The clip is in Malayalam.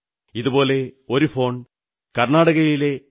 ഇതുപോലെ ഒരു ഫോൺ കർണ്ണാടകയിലെ ശ്രീ